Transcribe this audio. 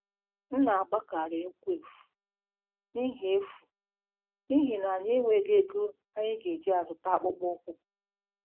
M na-agbakarị ụkwụ efu n'ihi efu n'ihi na anyị enweghị ego anyị ga-eji zụta akpụkpọ ụkwụ.